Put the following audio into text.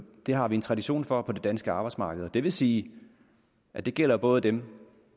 det har vi en tradition for på det danske arbejdsmarked og det vil sige at det gælder både dem